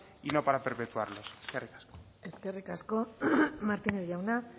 y no para perpetuarlos eskerrik asko eskerrik asko martínez jauna